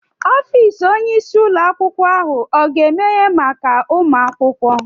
Ọfịs Onye isi ụlọ akwụkwọ ahụ oga emehe maka ụmụ akwụkwọ?